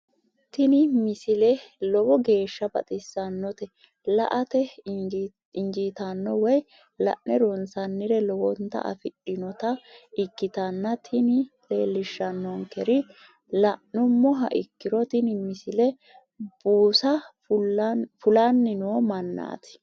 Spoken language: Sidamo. tini misile lowo geeshsha baxissannote la"ate injiitanno woy la'ne ronsannire lowote afidhinota ikkitanna tini leellishshannonkeri la'nummoha ikkiro tini misile buusa fulanni noo mannaati.